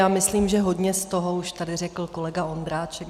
Já myslím, že hodně z toho tady už řekl kolega Ondráček.